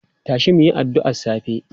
Tashi mu yi addu'ar safe!